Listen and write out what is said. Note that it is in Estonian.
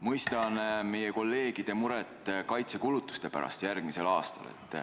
Mõistan meie kolleegide muret järgmise aasta kaitsekulutuste pärast.